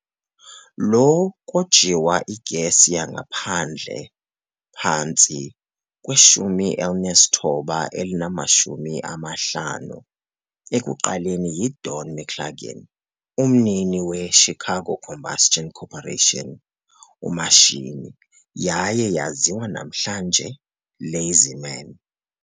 Lo kojiwa igesi yangaphandle phantsi 1950 ekuqaleni yi Don McGlaughlin, umnini "Chicago Combustion Corporation", omashini, yaye yaziwa namhlanje "LazyMan".